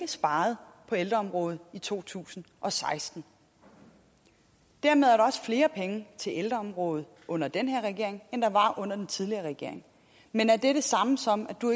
sparet på ældreområdet i to tusind og seksten dermed er der også flere penge til ældreområdet under den her regering end der var under den tidligere regering men er det det samme som at du